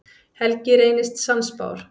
Helgi reynist sannspár.